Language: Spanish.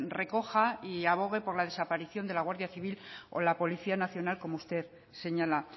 recoja y abogue por la desaparición de la guardia civil o la policía nacional como usted señala